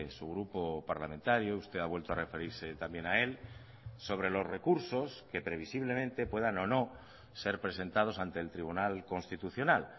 su grupo parlamentario usted ha vueltoa referirse también a él sobre los recursos que previsiblemente puedan o no ser presentados ante el tribunal constitucional